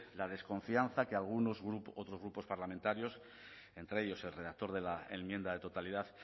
la desconfianza que algunos otros grupos parlamentarios entre ellos el redactor de la enmienda de totalidad